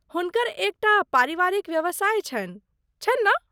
हुनकर एक टा पारिवारिक व्यवसाय छनि, छनि ने?